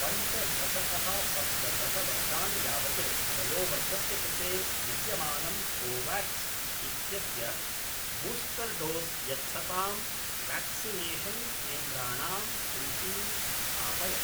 पञ्चदशतः सप्तदशवर्षाणि यावत् वयोवर्गस्य कृते विद्यमानं कोवाक्स् इत्यस्य बूस्टर् डोस् यच्छतां व्याक्सिनेषन् केन्द्राणां सूचीं स्थापय